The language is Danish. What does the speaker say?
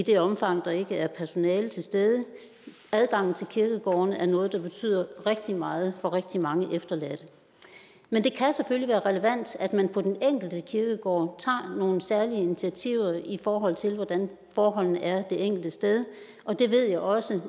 det omfang der ikke er personale til stede adgangen til kirkegårdene er noget der betyder rigtig meget for rigtig mange efterladte men det kan selvfølgelig være relevant at man på den enkelte kirkegård tager nogle særlige initiativer i forhold til hvordan forholdene er det enkelte sted og det ved jeg også